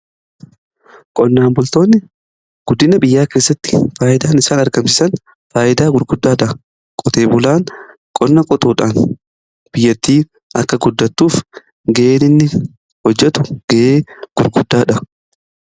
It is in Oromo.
qonnaan bultoonni guddina biyyaa keessatti faayyidaan isaan argamsiisan faayyidaa gurguddaadha. qotee bulaan qonna qutuudhaan biyyattii akka guddatuuf gaheen inni hojjetu ga'ee gurguddaadha.